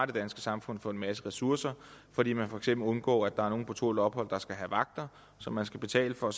det danske samfund for en masse ressourcer fordi man for eksempel undgår at der er nogen på tålt ophold der skal have vagter som man skal betale for